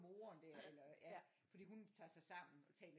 Moren der eller ja fordi hun tager sig sammen og taler